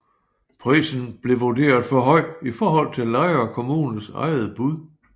Prisen blev vurderet for høj i forhold til Lejre Kommunes eget bud